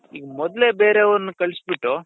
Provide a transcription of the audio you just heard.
ಈಗ ಮೊದ್ಲೇ ಬೇರೆಯವರನ್ನ ಕಳ್ಸಿ ಬಿಟ್ಟು